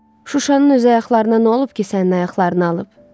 Şuşanın öz ayaqlarına nə olub ki, sənin ayaqlarını alıb?